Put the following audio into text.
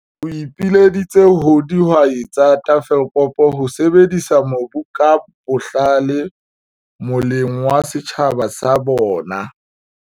O ipileditse ho dihwai tsa Tafelkop ho sebedisa mobu ka bohlale moleng wa setjhaba sa bona.